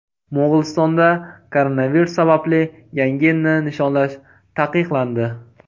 Mo‘g‘ulistonda koronavirus sababli Yangi yilni nishonlash taqiqlandi.